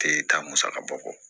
Te taa musakabɔ